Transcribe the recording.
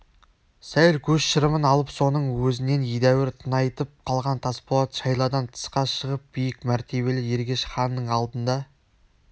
сәл көз шырымын алып соның өзінен едәуір тыңайып қалған тасболат шайладан тысқа шығып биік мәртебелі ергеш ханның алдында